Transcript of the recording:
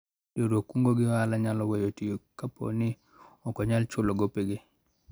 Riwruog kungo gi hola nyalo weyo tiyo kapo ni ok onyal chulo gopege